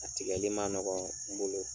A tigɛli man nɔgɔ n bolo.